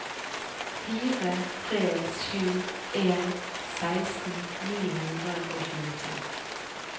fire tre sju en seksten ni hundre og tjueto